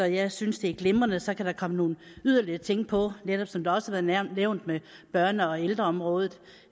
jeg synes det er glimrende og så kan der komme yderligere ting på som det også har været nævnt på børne og ældreområdet og